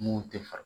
Mun tɛ faga